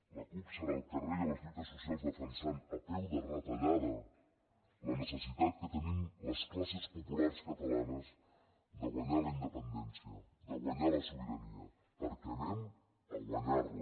la cup serà al carrer i a les lluites socials defensant a peu de retallada la necessitat que tenim les classes populars catalanes de guanyar la independència de guanyar la sobirania perquè anem a guanyar la